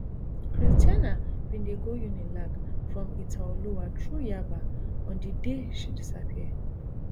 christianah bin dey go unilag from itaoluwa through yaba on di day she disappear